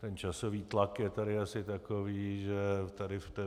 Ten časový tlak je tady asi takový, že tady v té